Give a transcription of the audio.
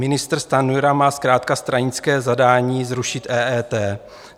Ministr Stanjura má zkrátka stranické zadání zrušit EET.